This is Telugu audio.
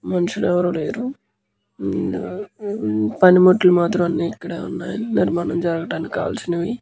మనుషులు ఎవరు లేరు ఉమ్మ్ పనిముట్లు మాత్రం అన్ని ఇక్కడే ఉన్నాయ్ నిర్మాణం జరగటానికి కావాల్సినవి.